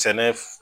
Sɛnɛ